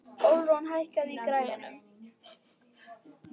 Ölrún, hækkaðu í græjunum.